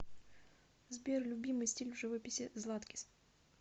сбер любимый стиль в живописи златкис